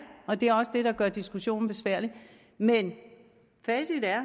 og det er også det der gør diskussionen besværlig men facit er